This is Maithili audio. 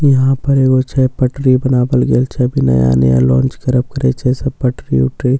इहाँ पर छे एगो छे पटरी बनावल गेल छे अभी नया नया लॉन्च करब करई छे सब पटरी उटरी पु --